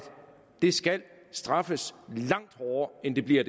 det skal straffes langt hårdere end det bliver